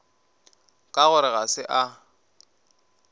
ka gore ga se a